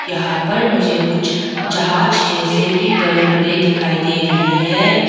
यहां पर मुझे कुछ जहाज जैसे भी बड़े बड़े दिखाई दे रही हैं।